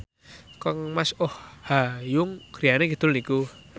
kangmas Oh Ha Young griyane kidul niku